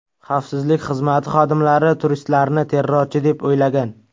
Xavfsizlik xizmati xodimlari turistlarni terrorchi deb o‘ylagan.